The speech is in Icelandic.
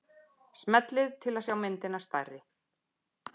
Smellið til að sjá myndina stærri.